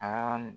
Aa